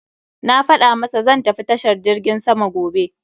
Na faɗa masa zan tafi tashar jirgin sama gobe.